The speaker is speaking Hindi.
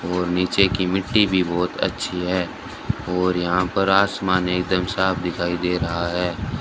और नीचे की मिट्टी भी बहुत अच्छी है और यहां पर आसमान एकदम साफ दिखाई दे रहा है।